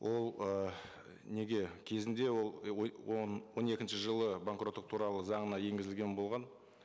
ол ы неге кезінде ол он екінші жылы банкроттық туралы заңына енгізілген болған